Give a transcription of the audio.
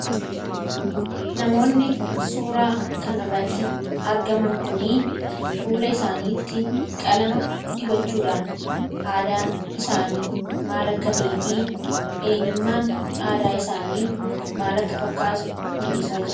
namoonni suuraa kan arratti argaman kunii fuula isaaniitti qalama dibachuudhaan aadaan isaanii maalakkatee fi eenyummaan aadaa isaanii maalakka fakkaatu mul'isa e